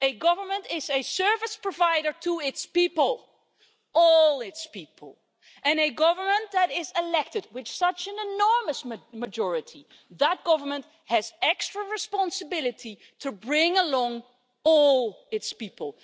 A government is a service provider to its people all its people and a government that is elected with such an enormous majority has extra responsibility to bring along all its people.